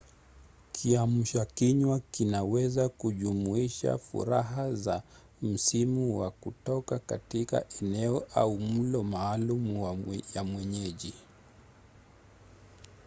kiamsha kinywa kinaweza kujumuisha faraha za misimuwa kutoka katika eneo au mlo maalum ya mwenyeji